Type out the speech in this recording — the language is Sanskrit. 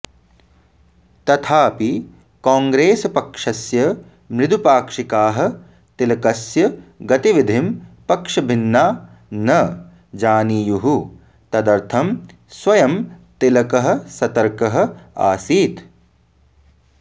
तथाऽपि कोङ्ग्रेसपक्षस्य मृदुपाक्षिकाः तिलकस्य गतिविधिं पक्षभिन्ना न जानीयुः तदर्थं स्वयं तिलकः सतर्कः आसीत्